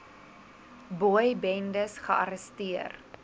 boy bendes gearresteer